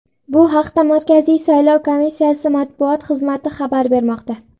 Bu haqda Markaziy saylov komissiyasi matbuot xizmati xabar bermoqda .